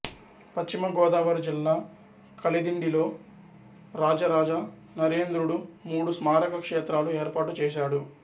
పశ్చిమ గోదావరి జిల్లా కలిదిండిలో రాజరాజ నరేంద్రుడు మూడు స్మారక క్షేత్రాలు ఏర్పాటు చేశాడు